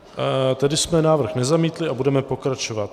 Tedy jsme návrh nezamítli a budeme pokračovat.